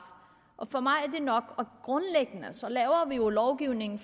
for mig er det nok grundlæggende laver vi jo lovgivning